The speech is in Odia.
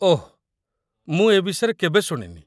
ଓଃ, ମୁଁ ଏ ବିଷୟରେ କେବେ ଶୁଣିନି